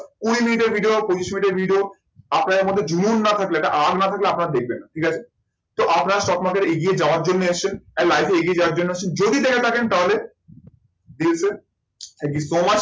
কুড়ি মিনিটের ভিডিও, পঁচিশ মিনিটের ভিডিও, আপনাদের মধ্যে জুনুন না থাকলে, একটা আগ না থাকলে দেখবেন না। ঠিক আছে? তো আপনারা stock market এ এগিয়ে যাওয়ার জন্য এসেছেন আর life এ এগিয়ে যাওয়ার জন্য এসেছেন। যদি দেখে থাকেন তাহলে দিল সে thank you so much